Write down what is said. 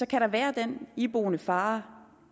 kan der være den iboende fare